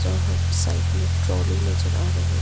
वहां एक साइड में ट्राली नजर आ रहे हैं।